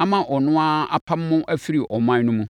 ama ɔno ara apamo mo afiri ɔman no mu.